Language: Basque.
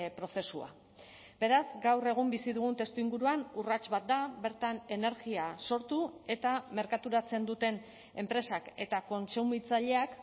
prozesua beraz gaur egun bizi dugun testuinguruan urrats bat da bertan energia sortu eta merkaturatzen duten enpresak eta kontsumitzaileak